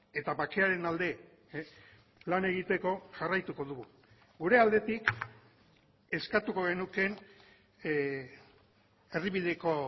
eta bakearen alde lan egiteko jarraituko dugu gure aldetik eskatuko genuke erdibideko